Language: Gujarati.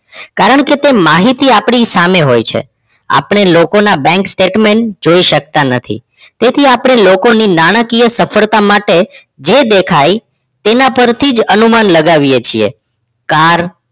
કારણકે તે માહિતી આપણી સામે હોય છે આપણે લોકો ના બઁક statement જોઈ શકતા નથી તેથી આપણે લોકો ની નાણાંકીય સફળતા માટે જે દેખ્યા તેના પર થી અનુમાન લગાવી છે car